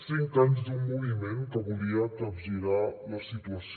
cinc anys d’un moviment que volia capgirar la situació